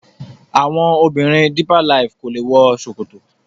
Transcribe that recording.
àwọn obìrin deeper life kọ lẹ wò ṣòkòtò